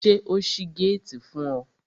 Ṣé o ṣí géètì fún ọ?